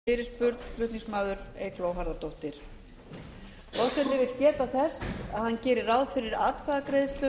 forseti vill geta þess að hann gerir ráð fyrir atkvæðagreiðslum